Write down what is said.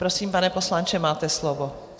Prosím, pane poslanče, máte slovo.